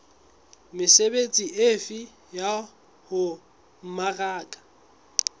mesebetsi efe ya ho mmaraka